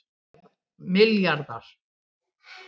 milljarðar